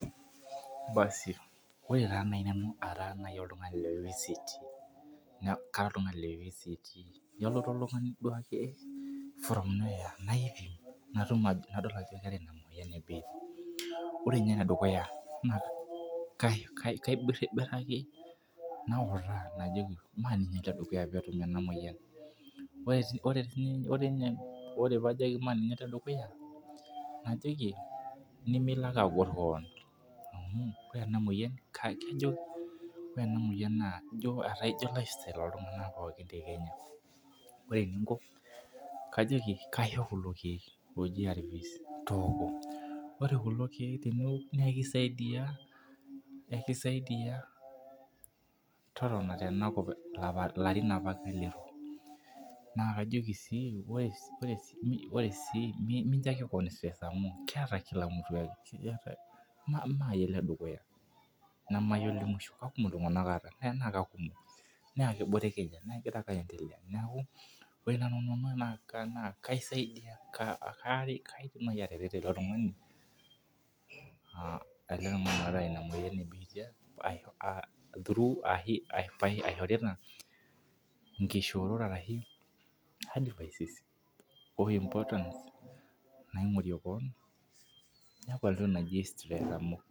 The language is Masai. Basi ore taa naaji nanu ara naaji oltungani le vct naa Kara oltungani le vct Nelotu oltungani duake, nadol ajo keeta Ina moyian ebiitia. ore ninye ene dukuya, naa kaibiribiraki nautaa, ajoki ore peetum ena moyian. ore pee ajoki ene dukuya najoki, nimilo ake agor keon. ore ena moyian, naa ijo keeta iltunganak te kenya. ore eninko kajoki kaisho kulo keek ooji ARVs. tooko. ore kulo keek teniok naa ekisaidia, totona tenakop ilarin apake liton. naa kajoki sii ore, mincho ake keon stress amu keeta Kila mutu ime iyie ole dukuya. neme iyie olemusho. naa keboreki egira ake aendelea neeku ore naaji nanu naa kaisadiai kaaret. kaidim naaji atareto ele tungani, teina moyian ebiitia. aishorita, inkishoorot ashu advises o importance naaingorie kewon.